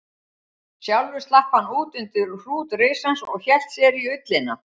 Sjálfur slapp hann út undir hrút risans og hélt sér í ullina.